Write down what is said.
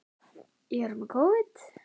Hvernig fer það með danska hrokann?